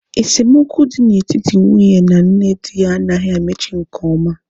Esemokwu na etiti nwunye na nne di ya anaghị emechi nke ọma